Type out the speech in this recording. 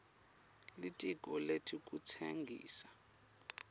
litiko letekutsengisa